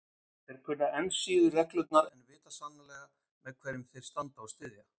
Þeir kunna enn síður reglurnar en vita sannarlega með hverjum þeir standa og styðja.